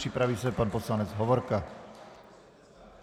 Připraví se pan poslanec Hovorka.